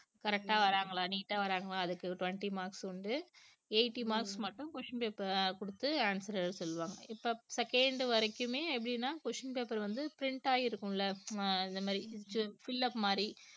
correct ஆ வர்றாங்களா neat ஆ வர்றாங்களா அதுக்கு twenty marks உண்டு eighty marks மட்டும் question paper அஹ் கொடுத்து answer எழுத சொல்லுவாங்க இப்ப second வரைக்குமே எப்படின்னா question paper வந்து print ஆகி இருக்கும்ல அஹ் இந்த மாதிரி இது fill up மாதிரி